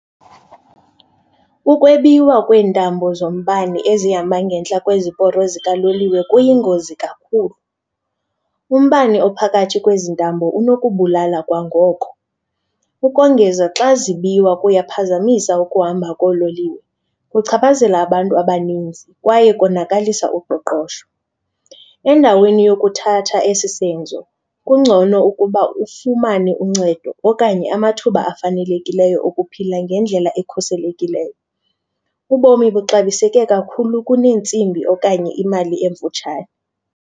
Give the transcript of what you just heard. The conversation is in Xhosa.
Ukwebiwa kweentambo zombane ezihamba ngentla kweziporo zikaloliwe kuyingozi kakhulu, umbane ophakathi kwezi ntambo unokubulala kwangoko. Ukongeza, xa zibiwa kuyaphazamisa ukuhamba koololiwe, kuchaphazela abantu abaninzi kwaye konakalisa uqoqosho. Endaweni yokuthatha esi senzo kungcono ukuba ufumane uncedo okanye amathuba afanelekileyo okuphila ngendlela ekhuselekileyo. Ubomi buxabiseke kakhulu kuneentsimbi okanye imali emfutshane.